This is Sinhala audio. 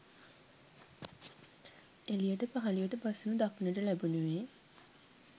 එළියට පහළියට බසිනු දක්නට ලැබෙනුයේ